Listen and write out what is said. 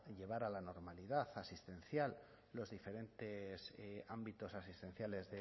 a la normalidad asistencial los diferentes ámbitos asistenciales